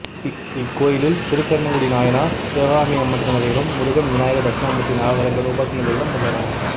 இக்கோயிலில் திருக்கண்ணங்குடிநாயனார் சிவகாமி அம்மன் சன்னதிகளும் முருகன் விநாயகர் தட்சணாமூர்த்தி நவகிரகங்கள் உபசன்னதிகளும் உள்ளன